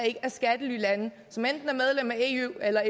ikke er skattelylande som enten er medlem af eu eller